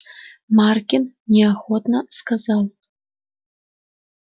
маркин неохотно сказал